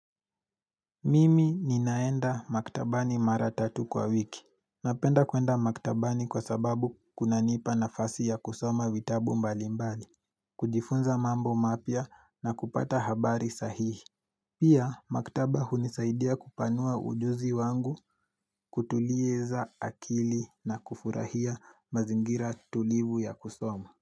Mimi ninaenda maktabani maratatu kwa wiki. Napenda kuenda maktabani kwa sababu kuna nipa na fasi ya kusoma witabu mbali mbali. Kujifunza mambo mapya na kupata habari sahihi. Pia maktaba hunisaidia kupanua ujuzi wangu kutuliza akili na kufurahia mazingira tulivu ya kusoma.